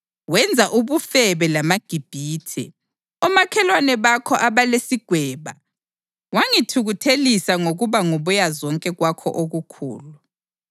Wenza ubufebe lamaGibhithe, omakhelwane bakho abalesigweba, wangithukuthelisa ngokuba ngubuyazonke kwakho okukhulu.